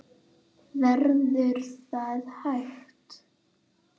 Verður það hægt?